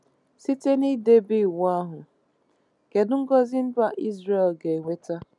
Site n’idebe Iwu ahụ, kedu ngọzị mba Izrel ga-enweta?